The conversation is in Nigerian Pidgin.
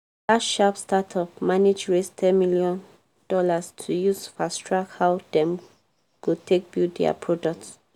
dat sharp startup manage raise ten dollars million to use fast track how dem go take build dia product